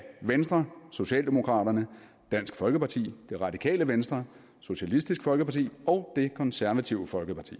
venstre socialdemokraterne dansk folkeparti radikale venstre socialistisk folkeparti og det konservative folkeparti